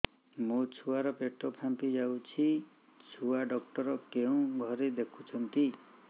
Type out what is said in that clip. ମୋ ଛୁଆ ର ପେଟ ଫାମ୍ପି ଯାଉଛି ଛୁଆ ଡକ୍ଟର କେଉଁ ଘରେ ଦେଖୁ ଛନ୍ତି